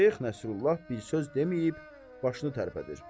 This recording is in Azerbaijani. Şeyx Nəsrullah bir söz deməyib başını tərpədir.